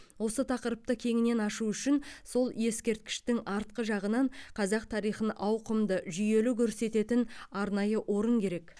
осы тақырыпты кеңінен ашу үшін сол ескерткіштің артқы жағынан қазақ тарихын ауқымды жүйелі көрсететін арнайы орын керек